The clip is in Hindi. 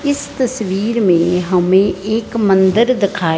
इस तस्वीर में हमें एक मंदिर दिखाई--